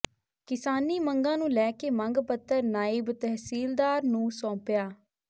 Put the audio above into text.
ਕਿਸਾਨੀ ਮੰਗਾਂ ਨੂੰ ਲੈ ਕੇ ਮੰਗ ਪੱਤਰ ਨਾਇਬ ਤਹਿਸੀਲਦਾਰ ਨੂੰ ਸੌਾਪਿਆ